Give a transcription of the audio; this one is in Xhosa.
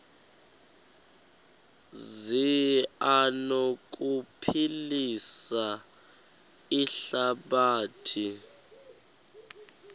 zi anokuphilisa ihlabathi